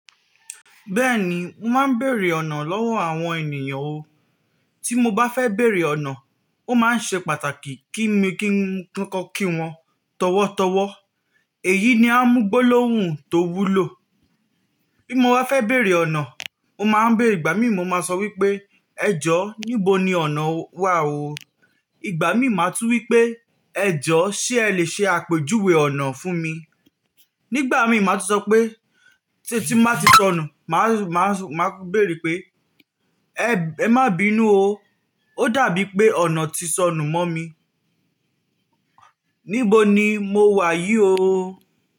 Bẹ́ẹ̀ni, mo máa ń bèèrè ọ̀nà lọ́wọ́ àwọn ènìyàn o. Tí mo bá fẹ́ bèèrè ọ̀nà, ó máa ń ṣe pàtàkì kí mi kí n kọko kí wọn tọ̀wọ̀tọ̀wọ̀. Èyí ni amú gbólóhùn tó wúlò. Bí mo wá fẹ́ bèèrè ọ̀nà, mo máa ń bèèrè ìgbà mí mo máa sọ wípé ẹjọ́ níbo ni ọ̀nà wà o. Ìgbà mí màá tún wí pé ẹjọ́ ṣé ẹ lè ṣe àpèjúwe ọ̀nà fún mi. Nígbà mí màá tún sọ pé tí tí máa ti sọnù, màá máa máa béèrè pé ẹ má bí inú o. Ó dàbí pé ọ̀nà ti sọnù mọ́ mi. Níbo ni mo wà yí o?